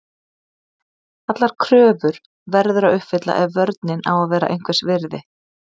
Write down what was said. Allar kröfur verður að uppfylla ef vörnin á að vera einhvers virði.